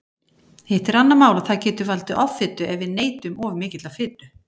Hitt er annað mál að það getur valdið offitu ef við neytum of mikillar fitu.